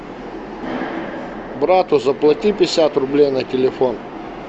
брату заплати пятьдесят рублей на телефон